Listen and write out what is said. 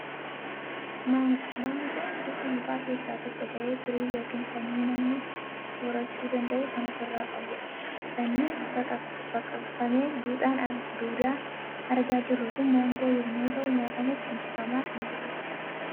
Maangoon gosa mukaa keessaa tokko ta'ee, firii yookiin sanyii namni soorachuu danda'u kan of irraa qabudha. Sanyiin baqaqfamee fi duudaan argaa jirru kun maangoo yommuu ta'u, nyaatamuuf quncifamaa kan jirudha.